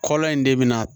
Kɔlɔn in de bɛna